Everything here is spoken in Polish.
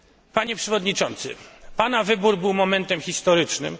Panie przewodniczący, pana wybór był momentem historycznym.